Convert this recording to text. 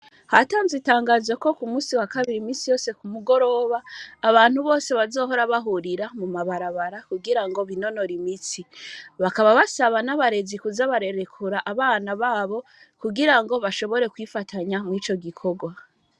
Hatanzwe itangazo kokumusi wakabiri imisi yose kumugorona, abantu Bose bazohora bahurira mumabarabara, kugira binonore imitsi, bakaba basaba n'abarezi kuza bararekura abana babo kugirango bashobore kwifatanya mwico gikogwa.